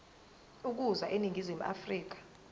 ukuza eningizimu afrika